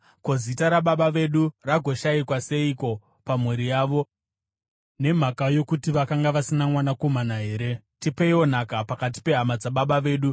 Ko, zita rababa vedu ragoshayikwa seiko pamhuri yavo, nokuti vakanga vasina mwanakomana here? Tipeiwo nhaka pakati pehama dzababa vedu.”